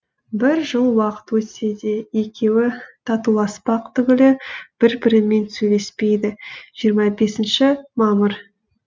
бір жыл уақыт өтсе де екеуі татуласпақ түгілі бір бірімен сөйлеспеді жиырма бесінші мамыр